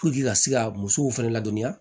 ka se ka musow fɛnɛ ladɔnniya